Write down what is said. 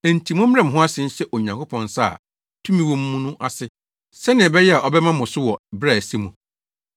Enti mommrɛ mo ho ase nhyɛ Onyankopɔn nsa a tumi wɔ mu no ase, sɛnea ɛbɛyɛ a ɔbɛma mo so wɔ bere a ɛsɛ mu.